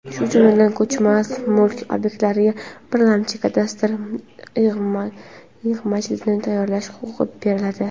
shu jumladan ko‘chmas mulk obyektlariga birlamchi kadastr yig‘majildini tayyorlash huquqi beriladi;.